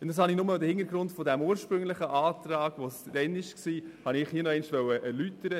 Diesen Hintergrund des ursprünglichen Antrags von damals wollte ich hier nochmals erläutern.